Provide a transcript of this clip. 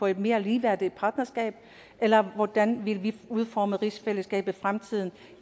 et mere ligeværdigt partnerskab eller hvordan vil vi udforme rigsfællesskabet i fremtiden